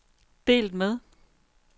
delt med